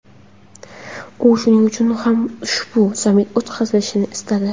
U shuning uchun ham ushbu sammit o‘tkazilishini istadi.